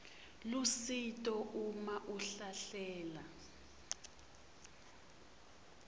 lusito uma ahlahlela